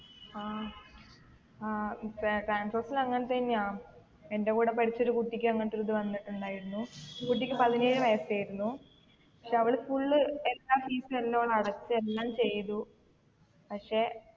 ആ ആ ഇപ്പെ transorze ൽ അങ്ങൻതന്നെയാ എൻ്റെ കൂടെ പഠിച്ച ഒരു കുട്ടിക്ക് അങ്ങൻത്തൊരു ഇത് വന്നിട്ടുണ്ടായിരുന്നു കുട്ടിക്ക് പതിനേഴ് വയസ്സേയിരുന്നു പക്ഷെ അവൾ full exam fees എല്ലു ഓൾ അടച്ച് എല്ലാം ചെയ്‌തു പക്ഷെ